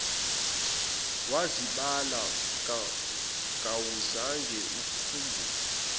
wazibala kawuzange ukhumbule